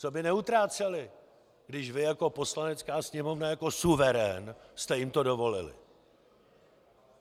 Co by neutráceli, když vy jako Poslanecká sněmovna, jako suverén, jste jim to dovolili?